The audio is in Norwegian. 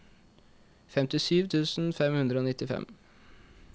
femtisju tusen fem hundre og nittifem